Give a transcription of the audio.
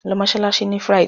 Lọ mọ́ṣáláṣí on Friday!